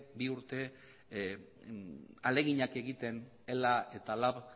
bi urte ahaleginak egiten ela eta lab